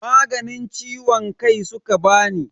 Maganin ciwon kai suka bani.